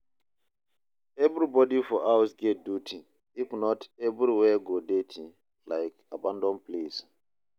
Everybody for house get duty, if not, everywhere go dirty like abandoned place.